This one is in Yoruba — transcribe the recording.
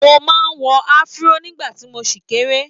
Mo máa ń wọ Afro nígbà tí mo ṣì kéré.